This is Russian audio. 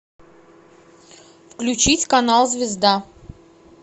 включить канал звезда